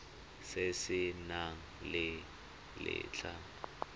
se se nang le letlha